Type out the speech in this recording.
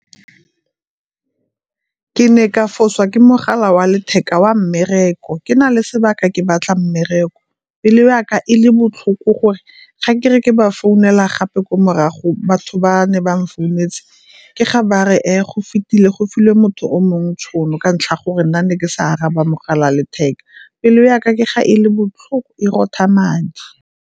Ke ne ka fosa ke mogala wa letheka wa mmereko ke na le sebaka ke batla mmereko, pelo ya ka e le botlhoko gore. Ga ke re ke ba founela gape ko morago batho ba ne ba mfounetse ke ga ba re, e go fetile go filwe motho o mongwe tšhono ka ntlha ya gore nna ne ke sa araba mogala wa letheka, pelo ya ka ke ga e le botlhoko e rotha madi.